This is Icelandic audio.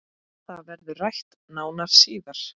Það verður rætt nánar síðar